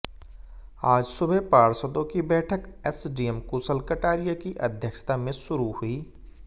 आज सुबह पार्षदों की बैठक एसडीएम कुशल कटारिया की अध्यक्षता में शुरू हुई